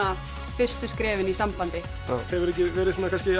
fyrstu skrefin í sambandi hefurðu ekki verið